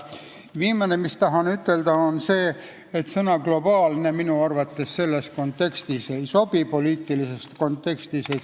Viimane asi, mis ma tahan sellel teemal ütelda, on see, et sõna "globaalne" minu arvates poliitilises kontekstis ei sobi kasutada.